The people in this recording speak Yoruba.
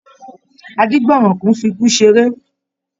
Adígbọ̀nrànkùn n fí ikú seré.